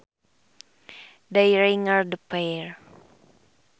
They ringed the pair